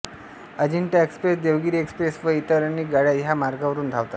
Ajanta express Devagiri express व इतर अनेक गाड्या ह्या मार्गावरून धावतात